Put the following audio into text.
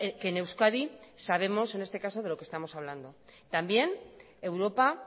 que en euskadi sabemos en este caso de lo que estamos hablando también europa